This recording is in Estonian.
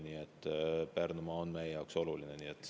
Nii et Pärnumaa on meie jaoks oluline.